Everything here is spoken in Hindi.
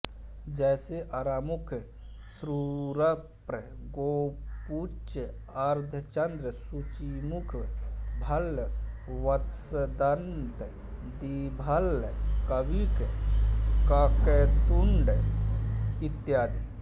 जैसे आरामुख क्षुरप्र गोपुच्छ अर्धचंद्र सूचीमुख भल्ल वत्सदन्त द्विभल्ल काणिक काकतुंड इत्यादि